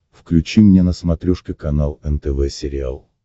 включи мне на смотрешке канал нтв сериал